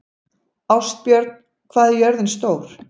Ástbjörn, hvað er jörðin stór?